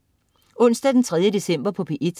Onsdag den 3. december - P1: